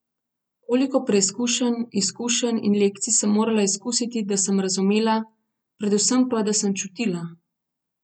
Koliko preizkušenj, izkušenj in lekcij sem morala izkusiti, da sem razumela, predvsem pa, da sem čutila!